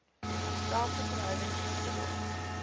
dieselfde verhouding toegelaat